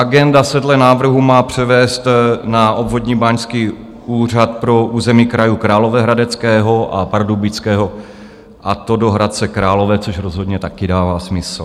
Agenda se dle návrhu má převést na Obvodní báňský úřad pro území krajů Královéhradeckého a Pardubického, a to do Hradce Králové, což rozhodně také dává smysl.